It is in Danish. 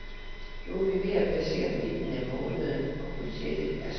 Nu er vi ved at passere midten af måneden og budgettet er sprængt.